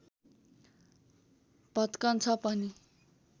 भत्कन्छ पनि